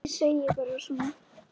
Ég segi bara svona.